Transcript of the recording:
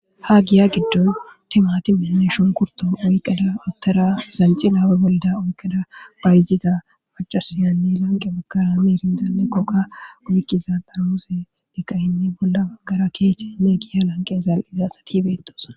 Ha giya giddon timati mineshon kurton oyqqeda uttera sanxi laabe bolda oykeda bayziza macasiyanni lanqe makara miirindanekokka uyqqiza darooze dhikayinne bolla agara keeche meegiya lanqe zaal'iza asatibeettos.